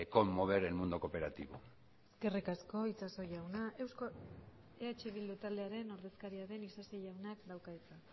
conmover el mundo cooperativo eskerrik asko itxaso jauna eh bildu taldearen ordezkaria den isasi jaunak dauka hitza